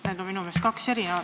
Need on minu meelest kaks eri asja.